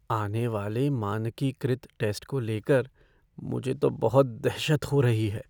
आने वाले मानकीकृत टैस्ट को लेकर मुझे तो बहुत दहशत हो रही है।